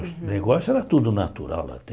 O negócio era tudo natural até.